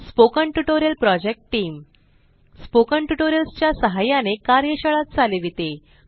spoken tutorial project team spoken tutorials च्या सहाय्याने कार्यशाळा चालविते